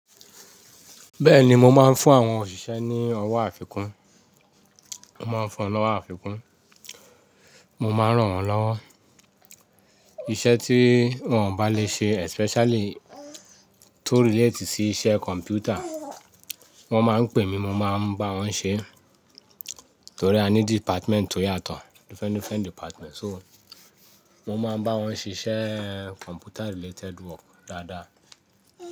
Bẹ́ẹ̀ni mo máa ń fún àwọn òṣìṣẹ́ ní ọwọ́ àfikún, mo máa ń fún wọn ní ọwọ́ àfikún, mo máa rán wọn lọ́wọ́. Iṣẹ́ tí wọ́n ò bá lè ṣe especially tó relate sí iṣẹ́ kọ̀m̀pútà, wọ́n máa ń pè mí mo máa ń bá wọn ṣe, torí a ní department tó yàtọ̀ different, different department. So mo máa ń bá wọn ṣiṣẹ́ computer related work dáadáa.